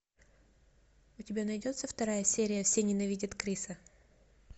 у тебя найдется вторая серия все ненавидят криса